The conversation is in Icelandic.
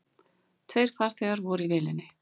Tveir farþegar voru í vélinni.